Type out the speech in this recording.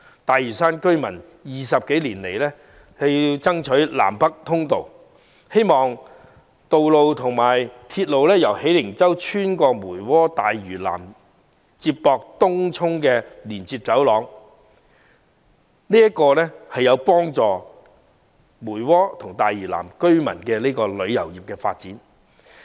大嶼山居民20多年來爭取興建南北通道，希望建設道路和鐵路，建成由喜靈洲穿越梅窩和大嶼南至東涌的連接走廊，因為這將有助梅窩和大嶼南的旅遊業發展。